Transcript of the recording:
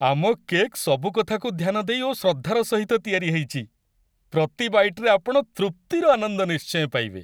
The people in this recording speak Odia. ଆମ କେକ୍ ସବୁ କଥାକୁ ଧ୍ୟାନ ଦେଇ ଓ ଶ୍ରଦ୍ଧାର ସହିତ ତିଆରି ହେଇଛି, ପ୍ରତି ବାଇଟ୍‌ରେ ଆପଣ ତୃପ୍ତିର ଆନନ୍ଦ ନିଶ୍ଚୟ ପାଇବେ।